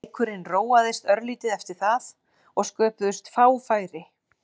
Leikurinn róaðist örlítið eftir það og sköpuðust fá færi.